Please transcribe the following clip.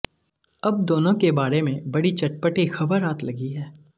अब दोनों के बारे में बड़ी चटपटी खबर हाथ लगी है